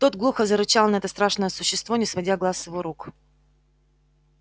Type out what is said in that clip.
тот глухо зарычал на это страшное существо не сводя глаз с его рук